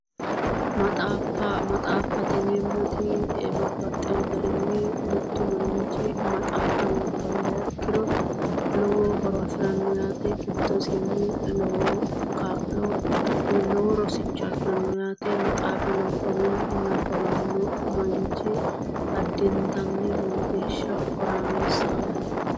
Maxaaffa maxaaffate yineemmoti babbaxxeyo garinni mittu manchi mmaxaaffa nabbawiha ikkiro lowo horo afiranno yaate giddosinni lowo kaa'lo woyi lowo rosicho afiranno yaate maxaafa nabbawanno manchi addintanni lowo geeshsha horaameessaho yaate